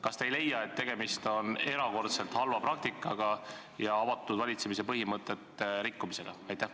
Kas te ei leia, et tegemist on erakordselt halva praktikaga ja avatud valitsemise põhimõtete rikkumisega?